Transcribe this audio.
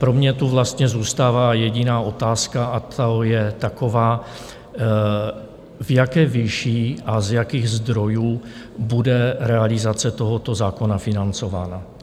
Pro mě tu vlastně zůstává jediná otázka, a to je taková, v jaké výši a z jakých zdrojů bude realizace tohoto zákona financována.